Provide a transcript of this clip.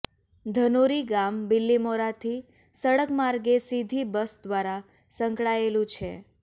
ધનોરી ગામ બીલીમોરાથી સડકમાર્ગે સીધી બસ દ્વારા સંકળાયેલું છે